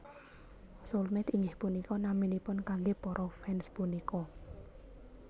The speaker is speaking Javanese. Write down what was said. Soulmate inggih punika naminipun kanggé para fans punika